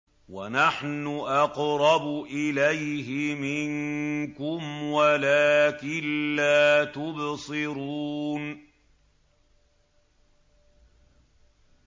وَنَحْنُ أَقْرَبُ إِلَيْهِ مِنكُمْ وَلَٰكِن لَّا تُبْصِرُونَ